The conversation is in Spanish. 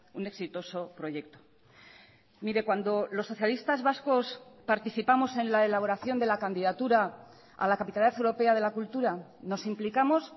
un exitoso proyecto mire cuando los socialistas vascos participamos en la elaboración de la candidatura a la capitalidad europea de la cultura nos implicamos